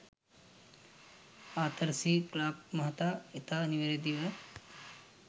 Arthur C Clarke මහතා ඉතා නිවැරදිව